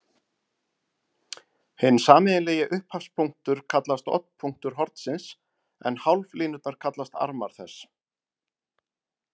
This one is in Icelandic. Hinn sameiginlegi upphafspunktur kallast oddpunktur hornsins en hálflínurnar kallast armar þess.